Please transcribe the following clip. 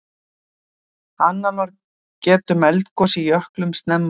Annálar geta um eldgos í jöklum snemma á öldum.